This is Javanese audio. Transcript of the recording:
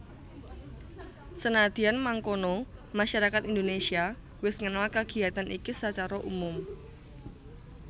Senadyan mangkono masyarakat Indonésia wis ngenal kagiatan iki sacara umum